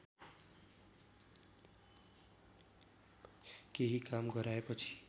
केही काम गराएपछि